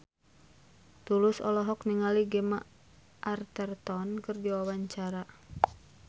Tulus olohok ningali Gemma Arterton keur diwawancara